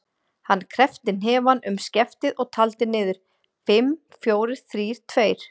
Hann kreppti hnefann um skeftið og taldi niður: fimm, fjórir, þrír, tveir.